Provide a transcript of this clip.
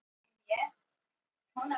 Mynd tekin af Brynju Guðmundsdóttur.